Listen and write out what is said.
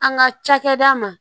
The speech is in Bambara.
An ka cakɛda ma